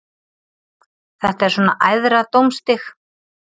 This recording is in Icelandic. Þetta er svona æðra dómstig.